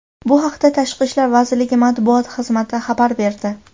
Bu haqda Tashqi ishlar vaziriligi matbuot xizmati xabar berdi .